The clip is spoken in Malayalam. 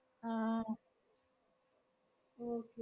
ആഹ് okay